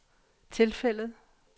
tilfældet